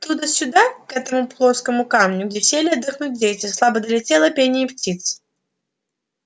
оттуда сюда к этому плоскому камню где сели отдохнуть дети слабо долетело пение птиц